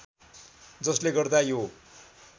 जसले गर्दा यो